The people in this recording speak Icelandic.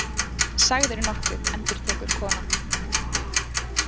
Sagðirðu nokkuð, endurtekur konan.